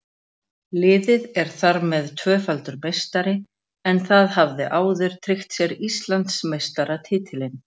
Liðið er þar með tvöfaldur meistari en það hafði áður tryggt sér Íslandsmeistaratitilinn.